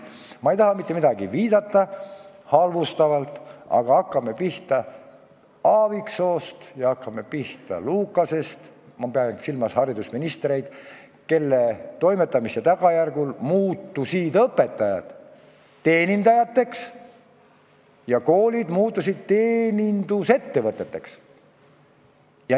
Ma ei taha mitte millelegi viidata halvustavalt, aga hakkame pihta Aaviksoost ja hakkame pihta Lukasest – ma pean silmas haridusministreid –, kelle toimetamise tagajärjel muutusid õpetajad teenindajateks ja koolid teenindusettevõteteks.